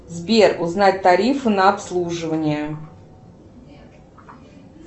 сбер узнать тарифы на обслуживание